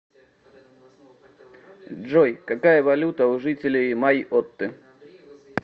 джой какая валюта у жителей майотты